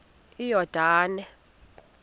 iyordane